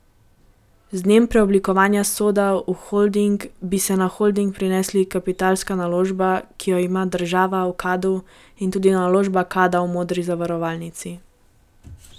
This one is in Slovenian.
Z dnem preoblikovanja Soda v holding bi se na holding prenesli kapitalska naložba, ki jo ima država v Kadu, in tudi naložba Kada v Modri zavarovalnici.